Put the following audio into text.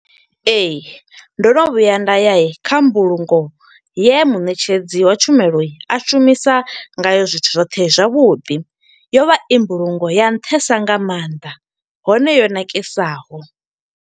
Ee, ndo no vhuya nda ya kha mbulungo ye muṋetshedzi wa tshumelo a shumisa nga yo zwithu zwoṱhe zwavhuḓi. Yo vha i mbulungo ya nṱhesa nga maanḓa, hone yo ṋakesaho.